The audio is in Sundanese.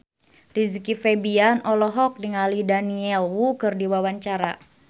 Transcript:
Rizky Febian olohok ningali Daniel Wu keur diwawancara